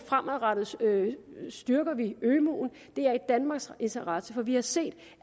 fremadrettet styrker ømuen det er i danmarks interesse vi har set